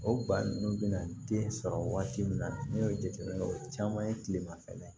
O ba ninnu bɛna den sɔrɔ waati min na n'i y'o jateminɛ o caman ye tilemafɛ